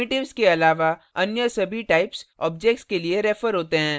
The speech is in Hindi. primitives के अलावा अन्य सभी types objects के लिए refer होते हैं